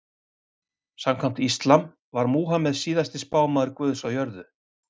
Samkvæmt íslam var Múhameð síðasti spámaður guðs á jörðu.